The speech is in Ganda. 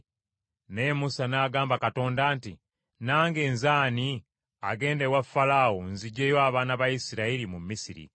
Naye Musa n’agamba Katonda nti, “Nange nze ani agenda ewa Falaawo nziggyeyo abaana ba Isirayiri mu Misiri?”